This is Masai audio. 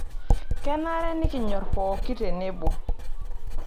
Kenare nikinyorra pookin tenebo.